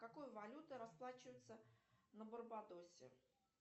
какой валютой расплачиваются на барбадосе